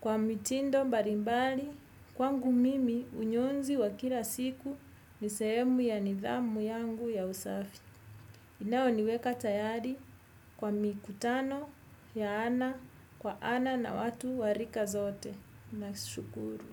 kwa mitindo mbalimbali kwangu mimi unyozi wa kila siku nisehemu ya nidhamu yangu ya usafi. Iinao niweka tayari kwa mikutano ya ana kwa ana na watu warika zote. Na shukuru.